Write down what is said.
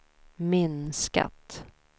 minskat